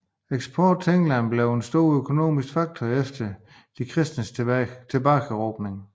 Eksport til England blev en stor økonomisk faktor efter de kristnes tilbageerobring